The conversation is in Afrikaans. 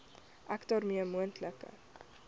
ek daarmee moontlike